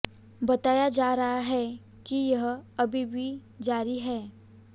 बताया जा रहा है कि यह अभी भी जारी है